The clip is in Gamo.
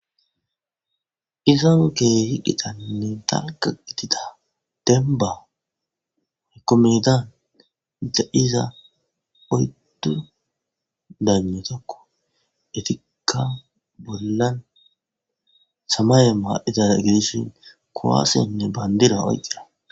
izani keehi qitaninne dalga gifida demba ykomedan da7iza oyddu daano tokko etikka bollan samaye ma7itaa gedishin kowaasenne bandira oyqqida